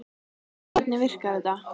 En hvernig virkar þetta?